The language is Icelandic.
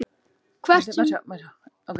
Hvert sem er skal ég fylgja þér.